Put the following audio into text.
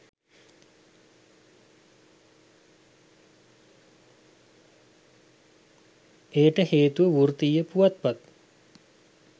එයට හේතුව වෘත්තීය පුවත්පත්